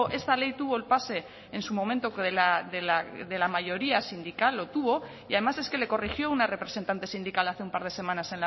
esta ley tuvo el pase en su momento de la mayoría sindical lo tuvo y además es que le corrigió una representante sindical hace un par de semanas